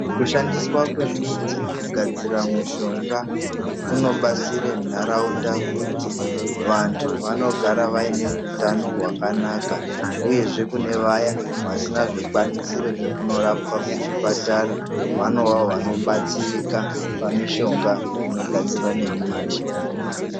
Kushandiswa kwemidzi kugadzira mushonga kunobatsira nharaunda kuti vantu vanogara vaine hutano hwakanaka, uyezve kune vaya vasina zvikwanisiro zvekunorapwa kuchipatara vanovavo vanobatsirika pamishonga inogadzirwa nemiti.